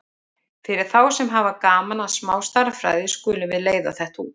Fyrir þá sem hafa gaman að smá stærðfræði skulum við leiða þetta út: